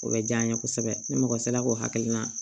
O bɛ diya n ye kosɛbɛ ni mɔgɔ sera k'o hakilina